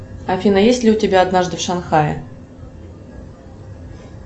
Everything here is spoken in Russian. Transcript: афина есть ли у тебя однажды в шанхае